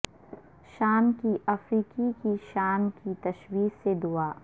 شام کی افریقی کی شام کی تشویش سے دعا